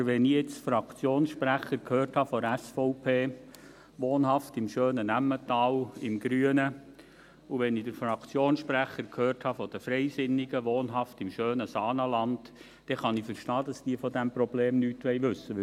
Aber wenn ich jetzt den Fraktionssprecher der SVP gehört habe, wohnhaft im schönen Emmental, im Grünen, und wenn ich den Fraktionssprecher der Freisinnigen gehört habe, wohnhaft im schönen Saanenland, kann ich verstehen, dass sie von diesem Problem nichts wissen wollen.